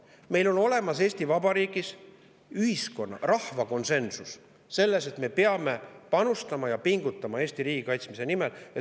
Meil on olemas Eesti Vabariigis ühiskonna, rahva konsensus selles, et me peame panustama Eesti riigi kaitsmisse ja selle nimel pingutama.